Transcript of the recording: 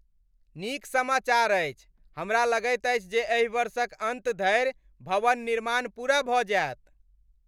नीक समाचार अछि, हमरा लगैत अछि जे एहि वर्षक अन्त धरि भवन निर्माण पूरा भऽ जाएत।